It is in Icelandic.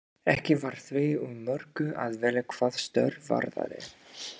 Ekki var því úr mörgu að velja hvað störf varðaði.